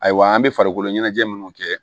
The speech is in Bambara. Ayiwa an be farikolo ɲɛnajɛ minnu kɛ